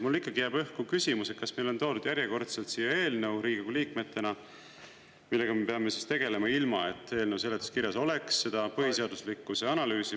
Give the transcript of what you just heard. Mulle ikkagi jääb õhku küsimus, et kas meile on toodud järjekordselt siia eelnõu, millega me Riigikogu liikmetena peame tegelema, ilma et eelnõu seletuskirjas oleks seda põhiseaduslikkuse analüüsi…